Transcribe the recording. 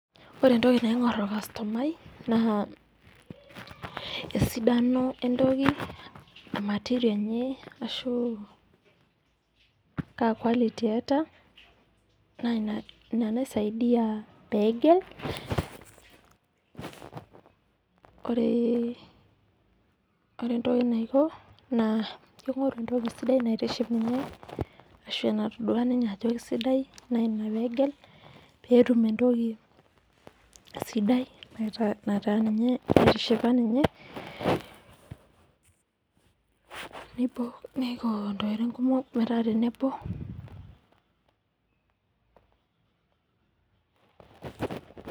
Ore entoki naing'or olkastomai naa, esidano entoki o material enye ashu kaa quality eata, naa ina naisiadia pee egel. Ore entoki naiko naa keing'oru entoki sidai naitiship ninye ashu enatodua ninye ajo aisidai ina pee egel, pee etum entoki sidai naitishipa ninye, neiko intokitin kumok metaa tenebo.